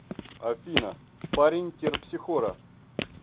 афина парень терпсихора